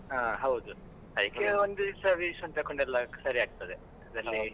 ಹಾ ಹೌದು ಅದಕ್ಕೆ ಒಂದಿವ್ಸ ಎಲ್ಲ ತಕೊಂಡೆಲ್ಲ ಸರಿಯಾಗ್ತದೆ .